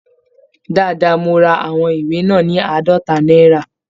Dáadáa, mo ra àwọn ìwé náà ní àádọ́ta náírà